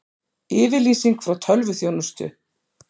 Yfirlýsing frá tölvuþjónustu